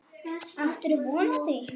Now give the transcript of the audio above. Áttirðu von á því?